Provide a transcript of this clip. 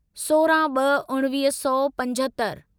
सोरहं ब॒ उणिवीह सौ पंजहतरि